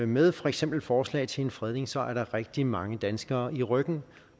med for eksempel forslag til en fredning så er der rigtig mange danskere i ryggen